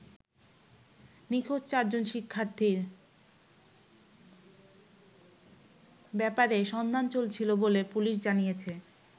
নিখোঁজ চারজন শিক্ষার্থীর ব্যাপারে সন্ধান চলছিল বলে পুলিশ জানিয়েছে।